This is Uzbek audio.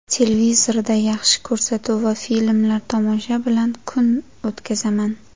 Televizorda yaxshi ko‘rsatuv va filmlar tomosha bilan kun o‘tkazaman.